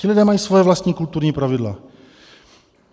Ti lidé mají svá vlastní kulturní pravidla.